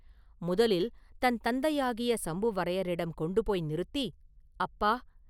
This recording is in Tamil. முதலில் தன் தந்தையாகிய சம்புவரையரிடம் கொண்டு போய் நிறுத்தி, “அப்பா!